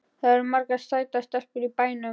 Það eru margar sætar stelpur í bænum.